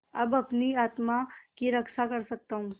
अब अपनी आत्मा की रक्षा कर सकता हूँ